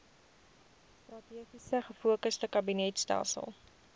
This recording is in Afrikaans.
strategies gefokusde kabinetstelsel